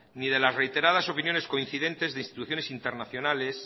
ni de las reiteradas opiniones coincidentes de instituciones internacionales